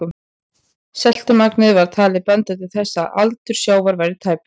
Seltumagnið var talið benda til þess að aldur sjávar væri tæpar